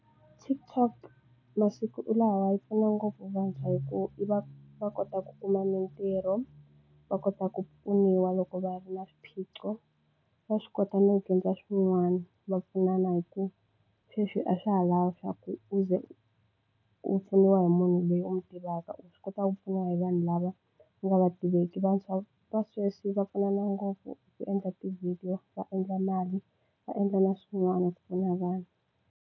TikTok masiku lawa yi pfuna ngopfu vantshwa hi ku i va va kota ku kuma mitirho va kota ku pfuniwa loko va ri na swiphiqo. Va swi kota no dyondza swin'wana va pfunana hi ku sweswi a swa ha lavi swa ku u ze u pfuniwa hi munhu loyi u n'wi tivaka u swi kotaka ku pfuniwa hi vanhu lava nga u va tiveki. Vantshwa va sweswi va pfunana ngopfu ku endla tivhidiyo va endla mali va endla na swin'wana ku pfuna vanhu.